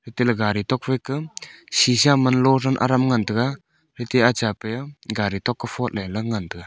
tile gari tok phai ka sheesha man lo Sam aram ngan taiga letiaa chapai aa gari tok ko photle lang ngan taiga.